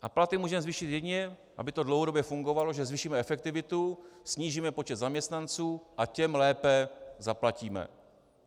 A platy můžeme zvýšit jedině, aby to dlouhodobě fungovalo, že zvýšíme efektivitu, snížíme počet zaměstnanců a těm lépe zaplatíme.